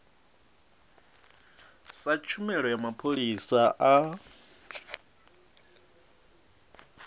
sa tshumelo ya mapholisa a